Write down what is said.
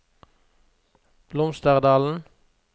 Blomsterdalen